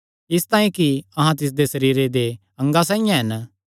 इसतांई कि अहां तिसदे सरीरे दे अंगा साइआं हन